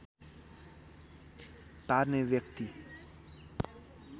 पार्ने व्यक्ति